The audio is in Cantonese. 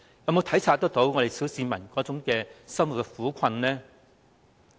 有否體察小市民生活的苦困？